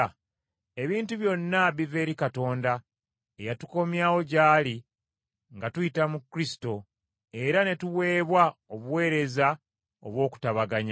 Ebintu byonna biva eri Katonda eyatukomyawo gy’ali nga tuyita mu Kristo, era ne tuweebwa obuweereza obw’okutabaganya.